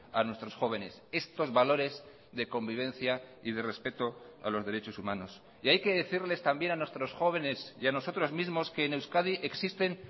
a nuestros jóvenes estos valores de convivencia y de respeto a los derechos humanos y hay que decirles también a nuestros jóvenes y a nosotros mismos que en euskadi existen